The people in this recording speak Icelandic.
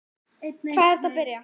Hvar er hægt að byrja?